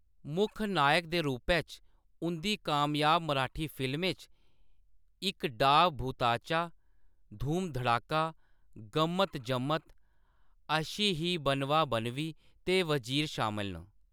मुक्ख नायक दे रूपै च उंʼदी कामयाब मराठी फ़िल्में च इक डाव भुताचा, धूम धड़ाका, गम्मत जम्मत, अशी ही बनवा बनवी ते वज़ीर शामल न।